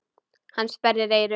Hann sperrir eyrun.